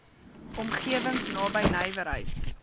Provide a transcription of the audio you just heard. omgewings naby nywerheids